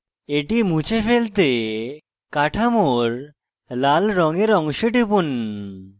এটি মুছে ফেলতে কাঠামোর লাল রঙের অংশে টিপুন